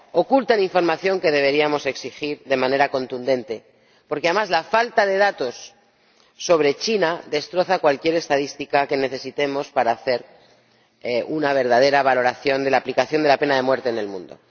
Ocultan información que deberíamos exigir de manera contundente, porque, además, la falta de datos sobre China destroza cualquier estadística que necesitemos para hacer una verdadera valoración de la aplicación de la pena de muerte en el mundo.